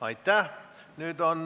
Aitäh!